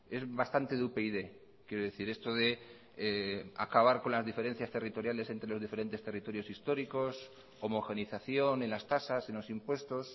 es bastante de upyd quiero decir esto de acabar con las diferencias territoriales entre los diferentes territorios históricos homogeneización en las tasas en los impuestos